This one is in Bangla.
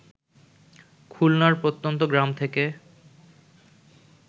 খুলনার প্রত্যন্ত গ্রাম থেকে